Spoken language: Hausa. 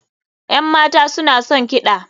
Yan mata suna son kiɗa.